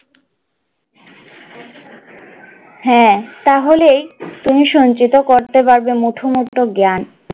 হ্যাঁ তাহলেই তুমি সঞ্চিত করতে পারবে মুঠোমুক্ত জ্ঞ্যান জ্ঞান,